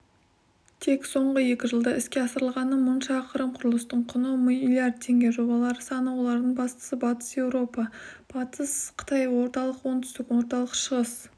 тек соңғы екі жылда іске асырылғаны мың шақырым құрылыстың құны миллиард теңге жобалар саны олардың бастысы батыс еуропа-батыс қытай орталық-оңтүстік орталық-шығыс